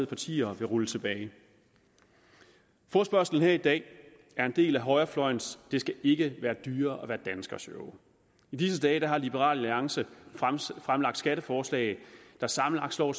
partier vil rulle tilbage forespørgslen her i dag er en del af højrefløjens det skal ikke være dyrere at være dansker show i disse dage har liberal alliance fremsat skatteforslag der sammenlagt slår